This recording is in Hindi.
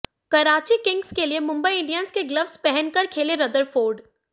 कराची किंग्स के लिए मुंबई इंडियंस के ग्ल्वस पहनकर खेले रदरफोर्ड